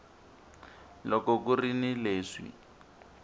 loko ku ri ni leswi